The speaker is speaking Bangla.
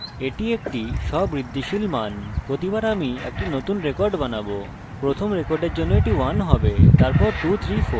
তাই প্রথম রেকর্ডের জন্য এটি 1 হবে 234 এবং এরপর তথ্য সংরক্ষণ করা হবে